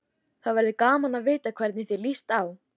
Það verður gaman að vita hvernig þér líst á.